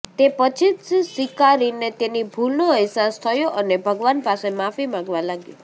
તે પછી જ શિકારીને તેની ભૂલનો અહેસાસ થયો અને ભગવાન પાસે માફી માંગવા લાગ્યો